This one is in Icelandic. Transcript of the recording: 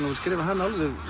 að skrifa hana